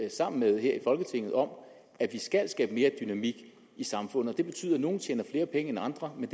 sammen med her i folketinget om at vi skal skabe mere dynamik i samfundet det betyder at nogle tjener flere penge end andre men